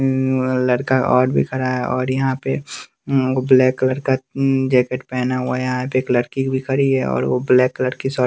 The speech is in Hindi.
लड़का और भी खड़ा है और यहां पे ब्लैक कलर का जैकेट पहना हुआ है यहां पे एक लड़की भी खड़ी है और वो ब्लैक कलर की शर्ट --